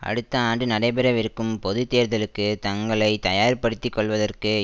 அடுத்த ஆண்டு நடைபெறவிருக்கும் பொது தேர்தலுக்கு தங்களை தயார்படுத்திக் கொள்வதற்கு